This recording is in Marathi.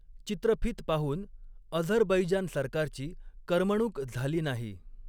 चित्रफित पाहून अझरबैजान सरकारची करमणूक झाली नाही.